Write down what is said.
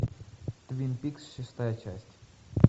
твин пикс шестая часть